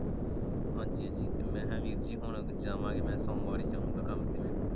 ਹਾਜ਼ੀ ਹਾਂਜ਼ੀ ਤੇ ਮੈਂ ਕਿਹਾ ਵੀਰ ਜੀ ਹੁਣ ਅਸੀਂ ਜਾਵਾਂਗੇ ਨਾ ਸੋਮਵਾਰ ਹੀ ਜਾਉਂਗਾ ਕੰਮ ਤੇ।